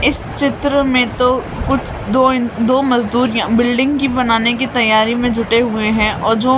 इस चित्र में तो कुछ दो दो मजदूर बिल्डिंग की बनाने की तैयारी में जुटे हुए हैं और जो--